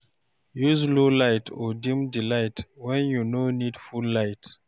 Use low light or dim di light when you no need full light